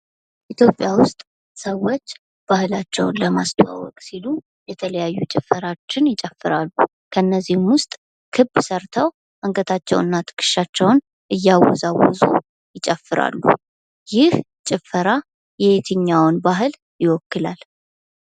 ኢትዮጵያ ውስጥ ሰዎች ባህላቸውን ለማስተዋወቅ ሲሉ የተለያዩ ጭፈራዎችን ይጨፍራሉ። ከነዚህም ውስጥ ክብ ሰርተው አንገታቸውንና ትከሻቸውን እያወዛወዙ ይጨፍራሉ። ይህ ጭፈራ የየትኛውን ባህል ይወክላል?